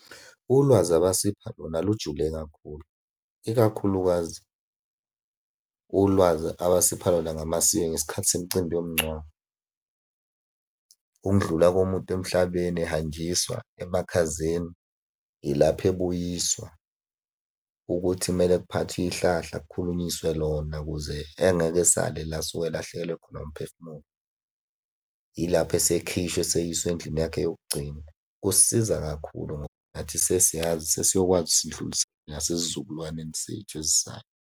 Ulwazi abasipha lona lujule kakhulu, ikakhulukazi ulwazi abasipha lona ngamasiko ngesikhathi semicimbi yomngcwabo. Ukundlula komuntu emhlabeni ehanjiswa emakhazeni, ilapho ebuyiswa, ukuthi kumele kuphathwe ihlahla kukhulunyiswe lona ukuze engeke asale la asuke elahlekelwe khona umphefumulo, yilapho esekhishwa eseyiswa endlini yakhe yokugcina. Kusisiza kakhulu ngoba nathi sesiyazi sesiyokwazi ukuthi sidlulisele nasesizukulwaneni sethu esizayo.